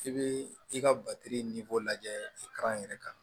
I bɛ i ka lajɛ k'a yɛrɛ kan